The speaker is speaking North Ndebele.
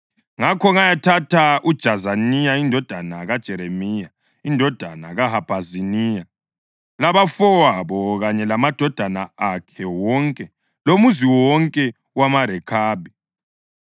Ngakho ngayathatha uJazaniya indodana kaJeremiya, indodana kaHabhaziniya, labafowabo kanye lamadodana akhe wonke lomuzi wonke wamaRekhabi.